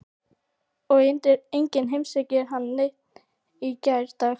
Og enginn heimsækir neinn í gærdag.